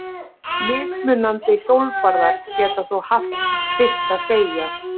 Mismunandi hjólbarðar geta þó haft sitt að segja.